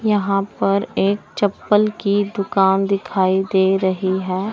यहां पर एक चप्पल की दुकान दिखाई दे रही है।